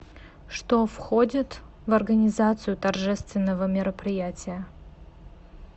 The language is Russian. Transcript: что входит в организацию торжественного мероприятия